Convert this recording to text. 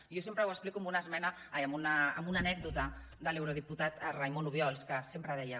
jo sempre ho explico amb una anècdota de l’eurodiputat raimon obiols que sempre deia